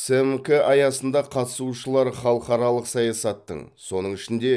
сімк аясында қатысушылар халықаралық саясаттың соның ішінде